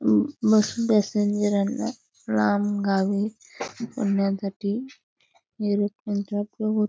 बस passenger ना लांब गावी जाण्यासाठी एरोप्लेन चा उपयोग होतो.